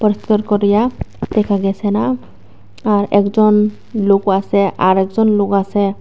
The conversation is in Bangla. দেখা গেছে না আর একজন লোকও আসে আর একজন লোক আসে।